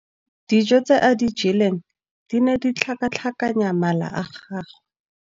Dijô tse a di jeleng di ne di tlhakatlhakanya mala a gagwe.